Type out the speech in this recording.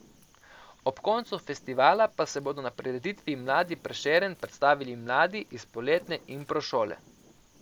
Ob koncu festivala pa se bodo na prireditvi Mladi Prešeren predstavili mladi iz poletne impro šole.